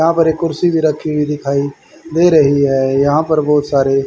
यहां पर एक कुर्सी भी रखी हुई दिखाई दे रही है यहां पर बहुत सारे--